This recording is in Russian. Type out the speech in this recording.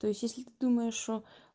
то есть если ты думаешь что